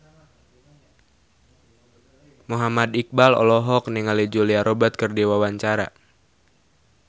Muhammad Iqbal olohok ningali Julia Robert keur diwawancara